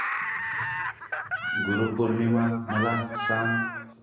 गुरु पौर्णिमा मला सांग